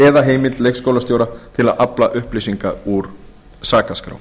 eða heimild leikskólastjóra til að afla upplýsinga úr sakaskrá